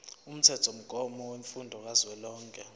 umthethomgomo wemfundo kazwelonke